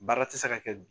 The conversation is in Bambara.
Baara tɛ se ka kɛ bi